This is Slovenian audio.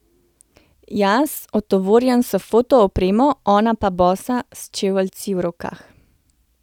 Jaz otovorjen s fotoopremo, ona pa bosa, s čeveljci v rokah.